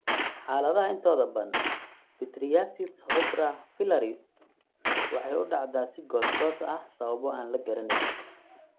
Xaaladaha intooda badan, pityriasis rubra pilaris (PRP) waxay u dhacdaa si goos goos ah sababo aan la garanayn.